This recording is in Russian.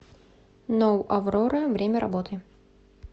ноу аврора время работы